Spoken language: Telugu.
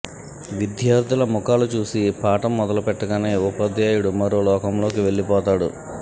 విద్యార్థుల ముఖాలు చూసి పాఠం మొదలు పెట్టగానే ఉపాధ్యాయుడు మరో లోకంలోకి వెళ్లిపోతాడు